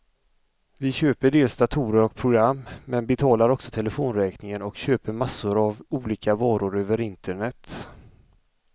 Vi köper dels datorer och program, men betalar också telefonräkningen och köper massor av olika varor över internet.